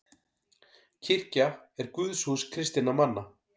Kirkja er guðshús kristinna manna.